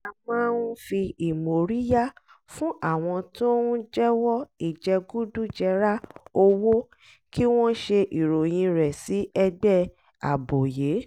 a máa ń fi ìmóríyá fún àwọn tó ń jẹ́wọ́ ìjẹgúdújẹra owó kí wọ́n ṣe ìròyìn rẹ̀ sí ẹgbẹ́ àbòyé